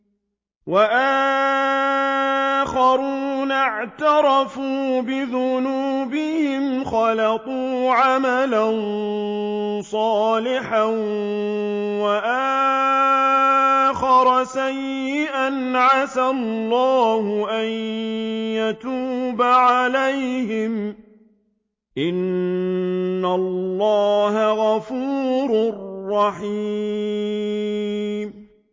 وَآخَرُونَ اعْتَرَفُوا بِذُنُوبِهِمْ خَلَطُوا عَمَلًا صَالِحًا وَآخَرَ سَيِّئًا عَسَى اللَّهُ أَن يَتُوبَ عَلَيْهِمْ ۚ إِنَّ اللَّهَ غَفُورٌ رَّحِيمٌ